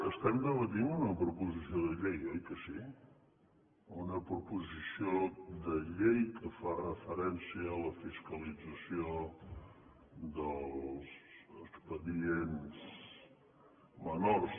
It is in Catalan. estem debatent una proposició de llei oi que sí una proposició de llei que fa referència a la fiscalització dels expedients menors